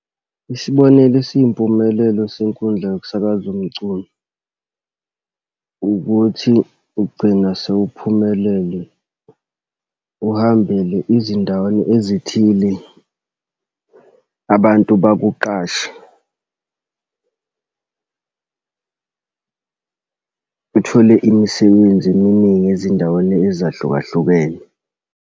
Isibonelo esiyimpumelelo senkundla yokusakaza umculo, ukuthi ugcina sewuphumelele, uhambele izindaweni ezithile, abantu bakuqhashe uthole imisebenzi eminingi ezindaweni ezahlukahlukene.